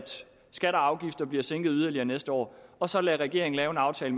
skatter og afgifter bliver sænket yderligere næste år og så lade regeringen lave en aftale